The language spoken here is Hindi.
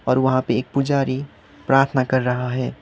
और वहां पे एक पुजारी प्रार्थना कर रहा है।